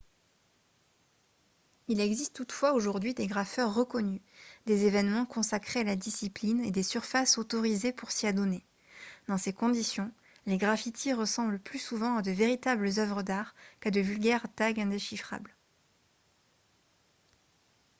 il existe toutefois aujourd'hui des graffeurs reconnus des événements consacrés à la discipline et des surfaces « autorisées » pour s'y adonner. dans ces conditions les graffitis ressemblent plus souvent à de véritables œuvres d'art qu'à de vulgaires tags indéchiffrables